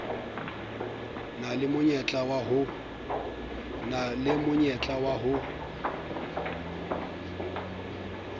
na le monyetla wa ho